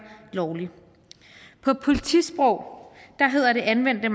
lovlig på politisprog hedder det anvendte